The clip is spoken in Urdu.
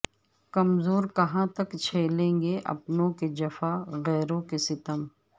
کمزور کہاں تک چھیلیں گے اپنوں کےجفا غیروں کے ستم